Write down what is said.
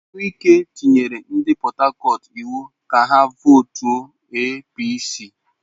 Wike nyere ndị Port Harcourt iwu ka ha vootuo APC!